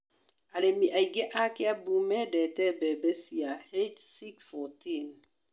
Arĩmi aingĩ a Kĩambu mendete mbembe cia H614.